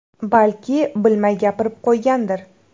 Balki, bilmay gapirib qo‘ygandir.